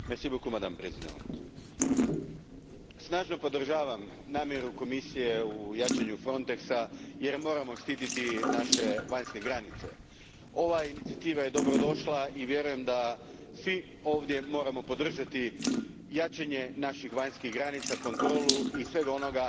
Gospođo predsjednice, snažno podržavam namjeru Komisije u jačanju Frontexa jer moramo štititi naše vanjske granice. Ova inicijativa je dobrodošla i vjerujem da svi ovdje moramo podržati jačanje naših vanjskih granica, kontrolu i sve ono